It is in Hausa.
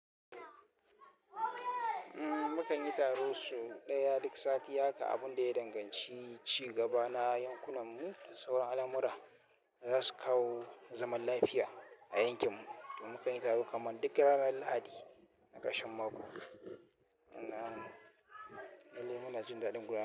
Mukan yi taro sau ɗaya duk sati haka abun da ya danganci ci gaba na yankunan mu da sauran al'amura da zasu kawo zaman lafiya a yankin mu, to mukan yi taro kaman duk ranar lahadi na ƙarshen mako. Na lallai muna jin daɗin guragu.